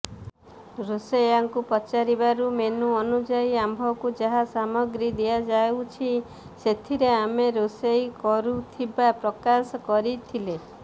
ରୋଷେଇଆଙ୍କୁ ପଚାରିବାରୁ ମେନୁ ଅନୁଯାୟୀ ଆମ୍ଭକୁ ଯାହା ସାମଗ୍ରୀ ଦିଆଯାଉଛି ସେଥିରେ ଆମେ ରୋଷେଇ କରୁଥିବା ପ୍ରକାଶ କରିଥିଲେ